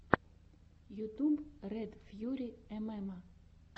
ютюб ред фьюри эмэма